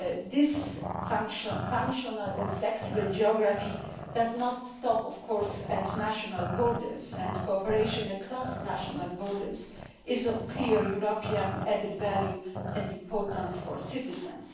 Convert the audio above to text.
This functional or flexible geography does not stop at national borders, and cooperation across national borders is of clear European added value and importance for citizens.